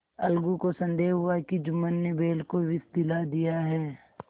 अलगू को संदेह हुआ कि जुम्मन ने बैल को विष दिला दिया है